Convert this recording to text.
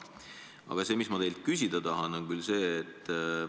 Aga ma tahan teilt küsida sellist asja.